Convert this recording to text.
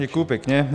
Děkuji pěkně.